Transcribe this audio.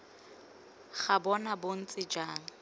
ga bona bo ntse jang